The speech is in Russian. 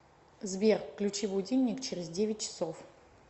сбер включи будильник через девять часов